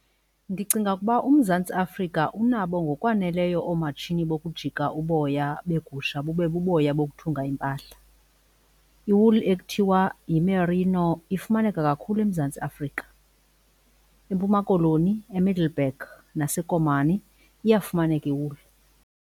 Ndicinga ukuba uMzantsi Afrika unabo ngokwaneleyo oomatshini bokujika uboya begusha bube buboya bokuthunga impahla. Iwuli ekuthiwa yimerino ifumaneka kakhulu eMzantsi Afrika. EMpuma Koloni, eMiddelburg naseKomani iyafumaneka iwuli.